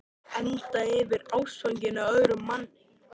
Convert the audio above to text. Enda yfir mig ástfangin af öðrum manni.